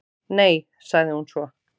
"""Nei, sagði hún svo."""